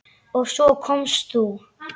Og svo komst þú!